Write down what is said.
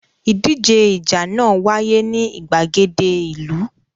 Ìdíje ìjà náà wáyé ní ìgbàgede ìlú.